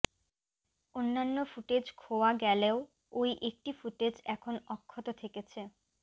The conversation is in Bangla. অন্য়ান্য় ফুটেজ খোওয়া গেলেও ওই একটি ফুটেজ এখন অক্ষত থেকেছে